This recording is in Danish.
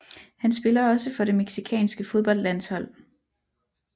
Han spiller også for det mexicanske fodboldlandshold